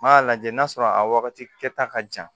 N y'a lajɛ n'a sɔrɔ a wagati kɛta ka jan